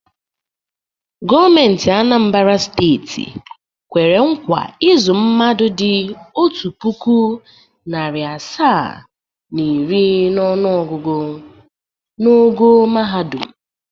Gọọmentị Anambara steeti kwere nkwa ịzụ mmadụ dị otu puku, narị asaa na iri n’ọnụọgụgụ n’ogo mahadum.